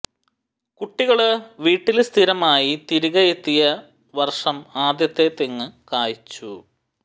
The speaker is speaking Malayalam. കുട്ടികള് വീട്ടില് സ്ഥിരമായി തിരികെ എത്തിയ വര്ഷം ആദ്യത്തെ തെങ്ങു കായ്ച്ചു